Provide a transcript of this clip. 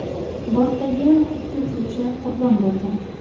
Bortdagi ikki uchuvchi qurbon bo‘lgan.